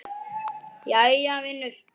Jæja, vinur.